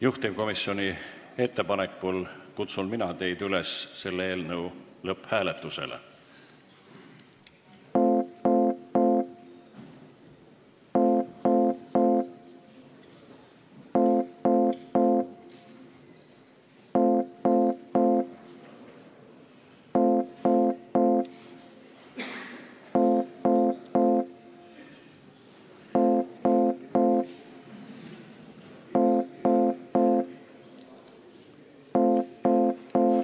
Juhtivkomisjoni ettepanekul kutsun mina teid üles selle eelnõu lõpphääletust tegema.